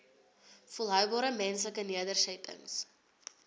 volhoubare menslike nedersettings